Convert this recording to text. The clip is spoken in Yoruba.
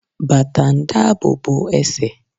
Bàtà ń dabobo ẹ̀sẹ̀